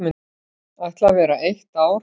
Ætla vera eitt ár.